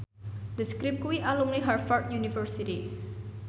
The Script kuwi alumni Harvard university